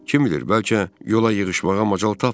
Kim bilir, bəlkə yola yığışmağa macal tapmayıb.